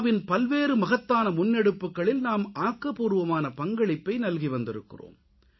win பல்வேறு மகத்தான முன்னெடுப்புக்களில் நாம் ஆக்கப்பூர்வமான பங்களிப்பை நல்கி வந்திருக்கிறோம்